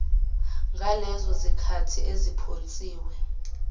ngalezo zikhali eziphonsiwe